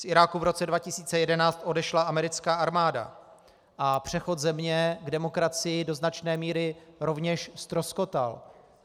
Z Iráku v roce 2011 odešla americká armáda a přechod země k demokracii do značné míry rovněž ztroskotal.